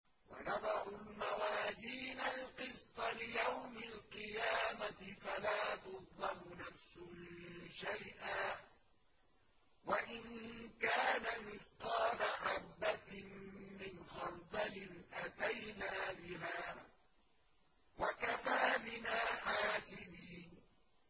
وَنَضَعُ الْمَوَازِينَ الْقِسْطَ لِيَوْمِ الْقِيَامَةِ فَلَا تُظْلَمُ نَفْسٌ شَيْئًا ۖ وَإِن كَانَ مِثْقَالَ حَبَّةٍ مِّنْ خَرْدَلٍ أَتَيْنَا بِهَا ۗ وَكَفَىٰ بِنَا حَاسِبِينَ